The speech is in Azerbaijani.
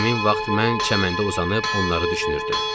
Həmin vaxt mən çəməndə uzanıb onları düşünürdüm.